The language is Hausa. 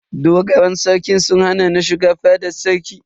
Dogaran Sarkin sun hana ni shiga fadan sarki.